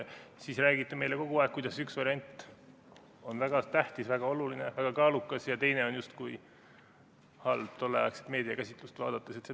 Siis räägiti meile kogu aeg, kuidas üks variant on väga tähtis, väga oluline, väga kaalukas ja teine oli justkui halb, kui tolleaegset meediakäsitlust vaadata.